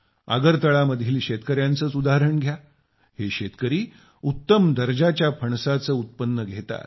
अगरतलातील शेतकऱ्यांचेच उदाहरण घ्या हे शेतकरी उत्तम दर्जाच्या फणसाचे उत्पन्न घेतात